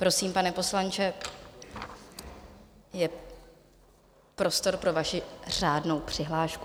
Prosím, pane poslanče, je prostor pro vaši řádnou přihlášku.